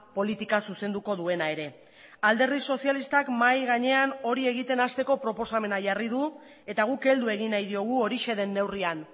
politika zuzenduko duena ere alderdi sozialistak mahai gainean hori egiten hasteko proposamena jarri du eta guk heldu egin nahi diogu horixe denneurrian